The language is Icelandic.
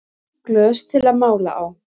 Glös til að mála á